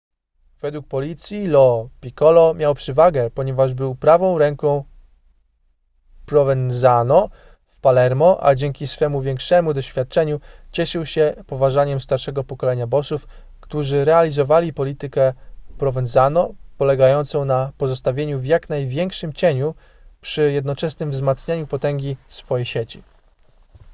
według policji lo piccolo miał przewagę ponieważ był prawą ręką provenzano w palermo a dzięki swemu większemu doświadczeniu cieszył się poważaniem starszego pokolenia bossów którzy realizowali politykę provenzano polegającą na pozostawaniu w jak największym cieniu przy jednoczesnym wzmacnianiu potęgi swojej sieci